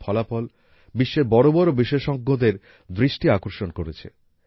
এই ফলাফল বিশ্বের বড় বড় বিশেষজ্ঞদের দৃষ্টি আকর্ষণ করেছে